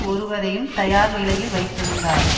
ஒருவரையும் தயார்நிலையில் வைத்திருந்தார்